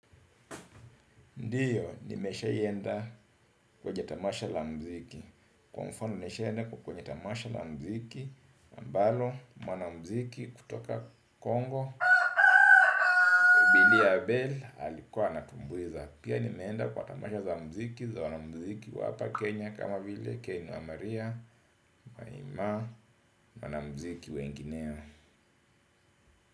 Ndiyo, nimesha ienda kwenye tamasha la mziki. Kwa mfano nimesha ienda kwenye tamasha la mziki. Ambalo, mwana mziki kutoka Kongo. BiliAbel alikuwa anatumbuiza. Pia nimeenda kwa tamasha za mziki, za wanamziki wa hapa Kenya. Kama vile, ken wa maria, marimaa, wana mziki wengineo.